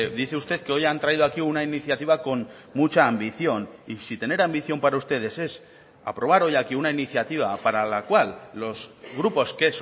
dice usted que hoy han traído aquí una iniciativa con mucha ambición y si tener ambición para ustedes es aprobar hoy aquí una iniciativa para la cual los grupos que